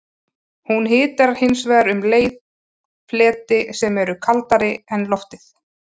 Hún hitar hins vegar um leið fleti sem eru kaldari en loftið.